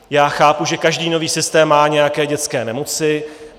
Já chápu, že každý nový systém má nějaké dětské nemoci.